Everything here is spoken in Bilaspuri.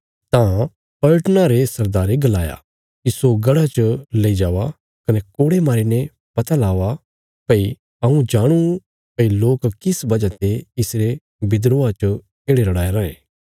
तां पलटना रे सरदारे गलाया इस्सो गढ़ा च लई जाओ कने कोड़े मारीने पता लाओ भई हऊँ जांणूं भई लोक किस वजह ते इसरे विद्रोहा च येढ़े रड़ाया रायें